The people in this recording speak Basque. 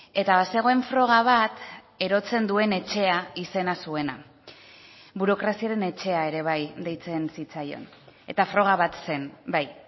eta bazegoen froga bat erotzen duen etxea izena zuena burokraziaren etxea ere bai deitzen zitzaion eta froga bat zen bai